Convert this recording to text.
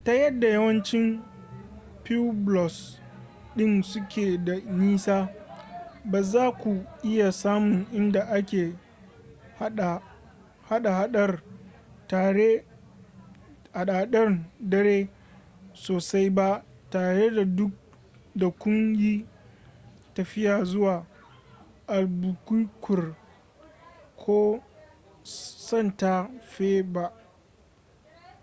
ta yadda yawancin pueblos ɗin suke da nisa ba za ku iya samun inda ake hada-hadar dare sosai ba tare da kun yi tafiya zuwa albuquerque ko santa fe ba